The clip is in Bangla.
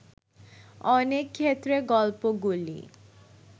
অনেক ক্ষেত্রে গল্পগুলি